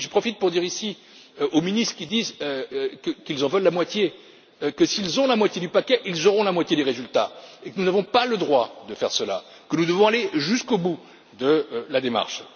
J'en profite pour dire ici aux ministres qui disent qu'ils en veulent la moitié, que s'ils ont la moitié du paquet, ils auront la moitié des résultats, que nous n'avons pas le droit de faire cela, que nous devons aller jusqu'au bout de la démarche.